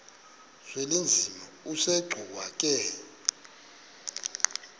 uzwelinzima asegcuwa ke